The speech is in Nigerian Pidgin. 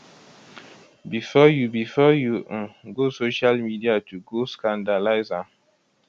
bifor you bifor you um go social media to go scandalize am